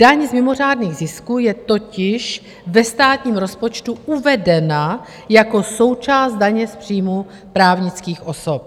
Daň z mimořádných zisků je totiž ve státním rozpočtu uvedena jako součást daně z příjmu právnických osob.